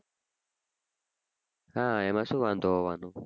હા એમાં શું વાંઘો આવવાનો